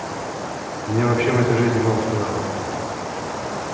мне вообще в этой жизни мало что надо